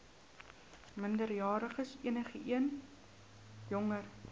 minderjariges enigeen jonger